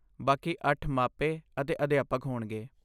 ਬਾਕੀ ਅੱਠ ਮਾਪੇ ਅਤੇ ਅਧਿਆਪਕ ਹੋਣਗੇ।